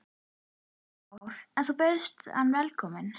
Kristján Már: En þú bauðst hann velkomin?